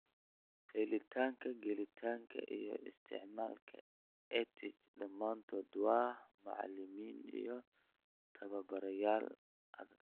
Helitaanka , gelitaanka , iyo isticmaalka EdTech dhamaantood waa macalimiin iyo tababarayaal adag .